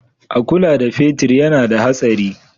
A kula da fetir yana da hatsari.